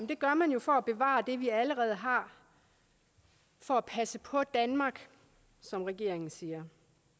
det gør man jo for at bevare det vi allerede har for at passe på danmark som regeringen siger